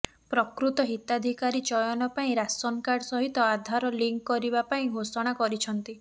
ପ୍ରକୃତ ହିତାଧିକାରୀ ଚୟନ ପାଇଁ ରାସନ୍କାର୍ଡ଼ ସହିତ ଆଧାର ଲିଙ୍କ କରିବା ପାଇଁ ଘୋଷଣା କରିଛନ୍ତି